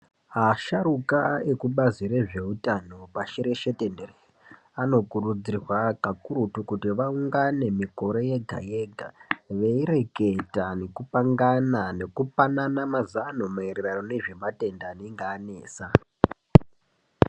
Asharukwa ekubazi rezveutano pashi reshe tenderere vanokurudzirwa kakurutu kuti vaungane mikore yega-yega veireketa nekupangana nekupanana mazano maererano nezvematenda anenge anesa.